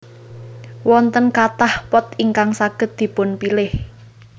Wonten kathah pot ingkang saged dipunpilih